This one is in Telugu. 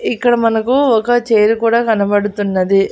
ఇక్కడ మనకు ఒక చైర్ కూడా కనబడుతున్నది.